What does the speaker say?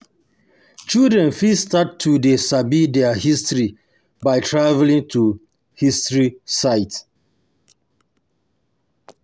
Children fit start to dey sabi their history by travelling to historic site